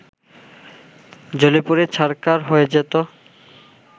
জ্বলেপুড়ে ছাড়খার হয়ে যেত